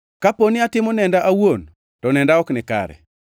“Kapo ni atimo nenda awuon to nenda ok nikare.